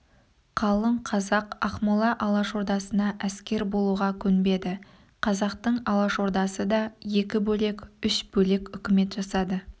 қалың қазақ ақмола алашордасына әскер болуға көнбеді қазақтың алашордасы да екі бөлек үш бөлек үкімет жасады